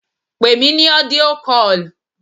Pè mí ní audio call!